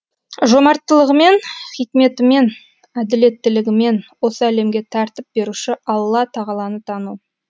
жомарттылығымен хикметімен әділеттілігімен осы әлемге тәртіп беруші алла тағаланы тану